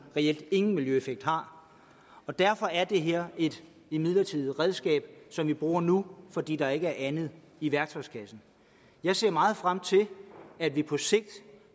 reelt ingen miljøeffekt har og derfor er det her et midlertidigt redskab som vi bruger nu fordi der ikke er andet i værktøjskassen jeg ser meget frem til at vi på sigt